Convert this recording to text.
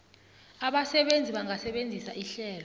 abasebenzi bangasebenzisa ihlelo